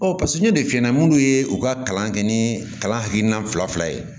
paseke n'o de f'i ɲɛna munnu ye u ka kalan kɛ ni kalan hakilina fila fila ye